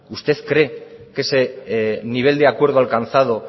usted cree que ese nivel de acuerdo alcanzado